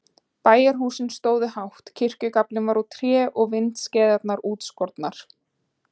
Bæjarhúsin stóðu hátt, kirkjugaflinn var úr tré og vindskeiðarnar útskornar.